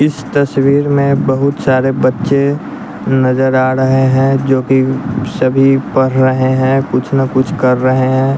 इस तस्वीर में बहुत सारे बच्चे नजर आ ड़हे हैं जो कि सभी पर रहे हैं कुछ ना कुछ कर रहे हैं।